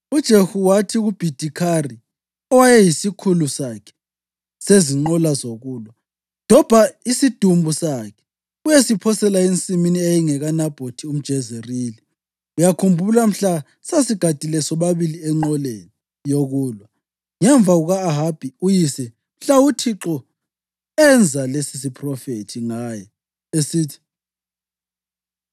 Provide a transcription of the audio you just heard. UJehu wathi kuBhidikhari, owayeyisikhulu sakhe sezinqola zokulwa, “Dobha isidumbu sakhe uyesiphosela ensimini eyayingekaNabhothi umJezerili. Uyakhumbula mhla sasigadile sobabili enqoleni yokulwa ngemva kuka-Ahabi uyise mhla uThixo enza lesisiphrofethi ngaye esithi,